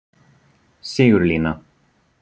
Sigurlína